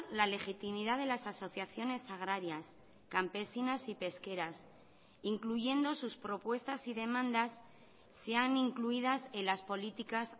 la legitimidad de las asociaciones agrarias campesinas y pesqueras incluyendo sus propuestas y demandas sean incluidas en las políticas